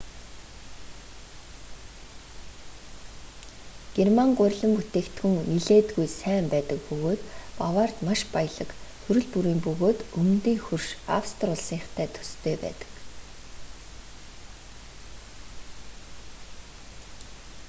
герман гурилан бүтээгдэхүүн нэлээдгүй сайн байдаг бөгөөд баварид маш баялаг төрөл бүрийн бөгөөд өмнөдийн хөрш австри улсынхтай төстэй байдаг